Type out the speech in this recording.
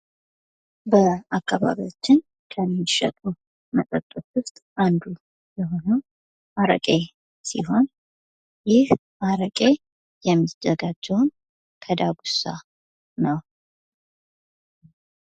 በአካባቢያችን ከሚሸጡ መጠጦች ዉስጥ አንዱ የሆነው አረቄ ሲሆን፤ ይህ አረቄ የሚዘጋጀውም ከዳጉሳ ነው።